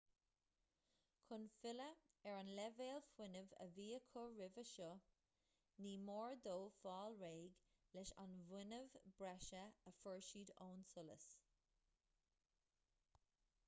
chun filleadh ar an leibhéal fuinnimh a bhí acu roimhe seo ní mór dóibh fáil réidh leis an bhfuinneamh breise a fuair siad ón solas